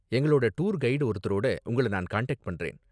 எங்களோட tour guide ஒருத்தரோட உங்கள நான் கனெக்ட் பண்றேன்.